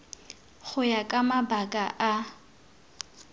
go ya ka mabaka a